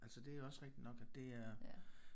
Altså det er rigtigt nok at det er